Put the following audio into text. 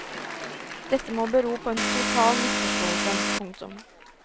Dette må bero på en total misforståelse. punktum